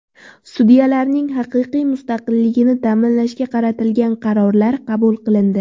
Sudyalarning haqiqiy mustaqilligini ta’minlashga qaratilgan qarorlar qabul qilindi.